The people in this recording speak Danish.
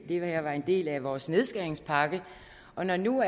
her var en del af vores nedskæringspakke og når nu